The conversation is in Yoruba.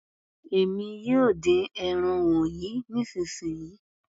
Èmi yóò dín ẹran wọnyí nísìnsisìyí.